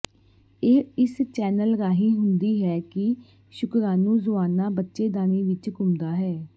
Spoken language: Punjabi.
ਇਹ ਇਸ ਚੈਨਲ ਰਾਹੀਂ ਹੁੰਦੀ ਹੈ ਕਿ ਸ਼ੁਕ੍ਰਾਣੂਜੁਆਨਾ ਬੱਚੇਦਾਨੀ ਵਿਚ ਘੁੰਮਦਾ ਹੈ